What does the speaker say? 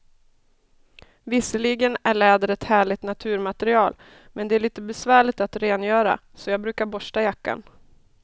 Visserligen är läder ett härligt naturmaterial, men det är lite besvärligt att rengöra, så jag brukar borsta jackan.